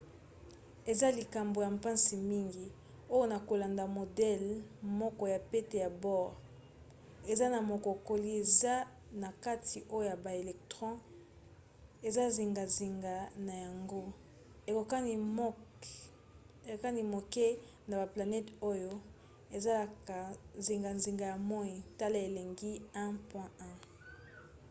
eza likambo ya mpasi mingi oyo na kolanda modele moko ya pete ya bohr eza na mokokoli eza na katikati oyo ba electron eza zingazinga na yango ekokani moke na baplanete oyo ezalaka zingazinga ya moi - tala elilingi 1.1